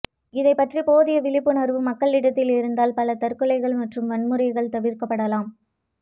இதைப்பற்றி போதிய விழிப்புணர்வு மக்களிடத்தில் இருந்தால் பல தற்கொலைகள் மற்றும் வன்முறைகள் தவிர்க்கப்படலாம்